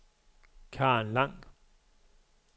Karen Lang